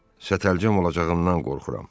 Sətəlcəm olacağımdan qorxuram.